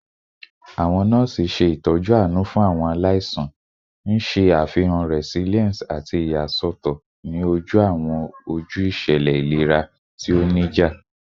Awọn nọọsi ṣe itọju aanu fun awọn alaisan, n ṣe afihan resilience ati iyasọtọ ni oju awọn oju iṣẹlẹ ilera ti o nija